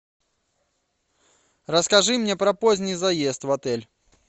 расскажи мне про поздний заезд в отель